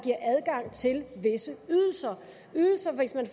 adgang til visse ydelser ydelser hvis man